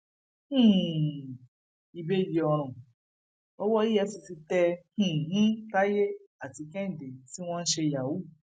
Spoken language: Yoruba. um ìbejì ọràn owó efcc tẹ um tayé àti kẹhìndẹ tí wọn ń ṣe yahoo